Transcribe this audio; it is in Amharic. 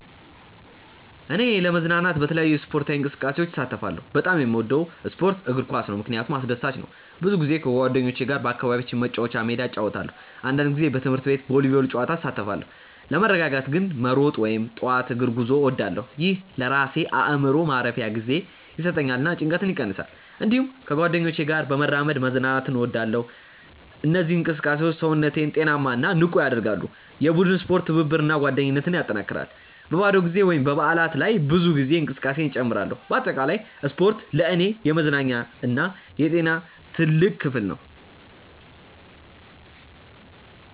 እኔ ለመዝናናት በተለያዩ ስፖርታዊ እንቅስቃሴዎች እሳተፋለሁ። በጣም የምወደው ስፖርት እግር ኳስ ነው፣ ምክንያቱም አስደሳች ነው። ብዙ ጊዜ ከጓደኞቼ ጋር በአካባቢያችን መጫወቻ ሜዳ እጫወታለሁ። አንዳንድ ጊዜ በትምህርት ቤት ቮሊቦል ጨዋታ እሳተፋለሁ። ለመረጋጋት ግን መሮጥ ወይም ጠዋት እግር ጉዞ እወዳለሁ። ይህ ለራሴ አእምሮ ማረፊያ ጊዜ ይሰጠኛል እና ጭንቀትን ይቀንሳል። እንዲሁም ከጓደኞቼ ጋር በመራመድ መዝናናት እወዳለሁ። እነዚህ እንቅስቃሴዎች ሰውነቴን ጤናማ እና ንቁ ያደርጋሉ። የቡድን ስፖርት ትብብርን እና ጓደኝነትን ያጠናክራል። በባዶ ጊዜ ወይም በበዓላት ላይ ብዙ ጊዜ እንቅስቃሴ እጨምራለሁ። በአጠቃላይ ስፖርት ለእኔ የመዝናኛ እና የጤና ትልቅ ክፍል ነው።